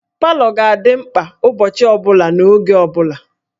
Palọ ga-adị mkpa ụbọchị ọ bụla n'oge ọ bụla